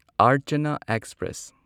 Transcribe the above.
ꯑꯔꯆꯥꯅꯥ express